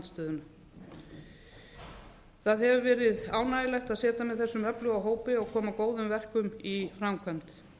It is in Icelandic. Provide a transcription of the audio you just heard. stjórnarandstöðuna það hefur verið ánægjulegt að sitja með þessum öfluga hópi og koma góðum verkum í framkvæmd